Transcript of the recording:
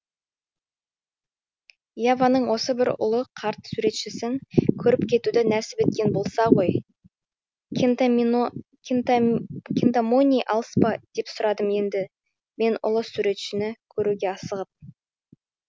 яваның осы бір ұлы қарт суретшісін көріп кетуді нәсіп еткен болса ғой кинтамони алыс па деп сұрадым енді мен ұлы суретшіні көруге асығып